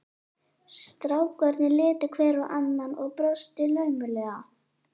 Strákarnir litu hver á annan og brostu laumulega.